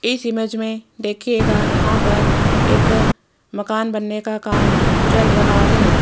इस इमेज में देखिएगा यहां पर एक मकान बनने का काम चल रहा है।